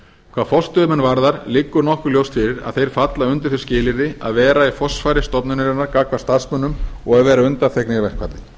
hvað forstöðumenn varðar liggur nokkuð ljóst fyrir að þeir falla undir þau skilyrði að vera í forsvari stofnunarinnar gagnvart starfsmönnum og að vera undanþegnir verkfalli